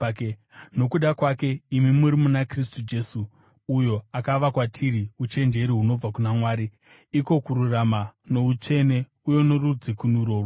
Nokuda kwake, imi muri muna Kristu Jesu, uyo akava kwatiri uchenjeri hunobva kuna Mwari, iko kururama, noutsvene uye norudzikinuro rwedu.